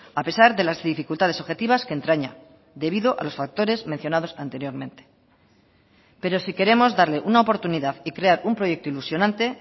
a pesar de las dificultades objetivas que entraña debido a los factores mencionados anteriormente pero si queremos darle una oportunidad y crear un proyecto ilusionante